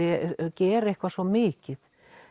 gera eitthvað svo mikið